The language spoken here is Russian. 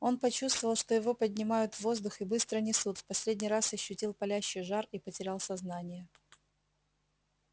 он почувствовал что его поднимают в воздух и быстро несут в последний раз ощутил палящий жар и потерял сознание